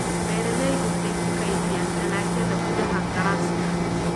Beeraleydu waxay ku kaydiyaan dalagyada gudaha galaaska